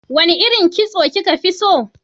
Wane irin kitso kika fi so?